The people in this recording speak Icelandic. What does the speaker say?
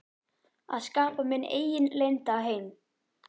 Að skapa minn eigin leynda heim.